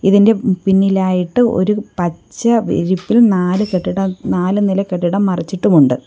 ഇതിൻ്റെ പിന്നിലായിട്ടു ഒരു പച്ച വിരിപ്പിൽ നാല് കെട്ടിടം നാല് നില കെട്ടിടം മറച്ചിട്ടുമുണ്ട്.